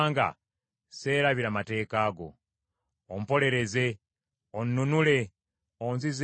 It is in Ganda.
Ompolereze, onnunule, onzizeemu obulamu nga bwe wasuubiza.